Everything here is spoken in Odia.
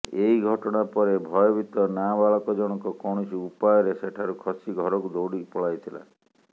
ଏହି ଘଟଣାପରେ ଭୟଭୀତ ନାବାଳକ ଜଣକ କୌଣସି ଉପାୟରେ ସେଠାରୁ ଖସି ଘରକୁ ଦୌଡି ପଳାଇଥିଲା